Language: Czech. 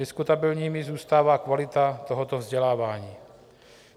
Diskutabilní zůstává kvalita tohoto vzdělávání.